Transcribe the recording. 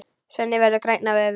Svenni verður grænn af öfund.